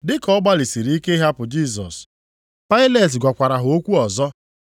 Dị ka ọ gbalịsịrị ike ịhapụ Jisọs, Pailet gwakwara ha okwu ọzọ.